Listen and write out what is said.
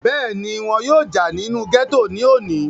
bẹ́ẹ̀ni, wọn yóò jà nínú gẹ́tò ní òní